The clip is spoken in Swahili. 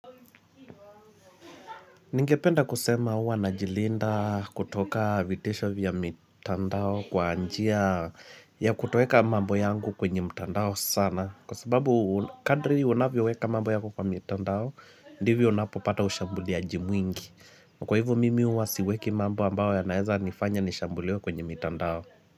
Ningependa kusema huwa najilinda kutoka vitisho vya mitandao kwa njia ya kutoweka mambo yangu kwenye mitandao sana Kwa sababu kadri unavyoweka mambo yako kwa mitandao ndivyo unapopata ushambuliaji mwingi Kwa hivyo mimi huwa siweki mambo ambayo yanaeza nifanya nishambulio kwenye mitandao.